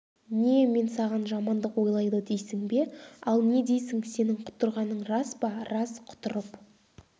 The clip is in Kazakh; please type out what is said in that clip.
не мен саған жамандық ойлайды дейсің бе ал не дейсің сенің құтырғаның рас па рас құтырып